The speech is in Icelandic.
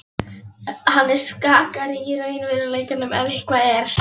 Hann er skakkari í raunveruleikanum ef eitthvað er.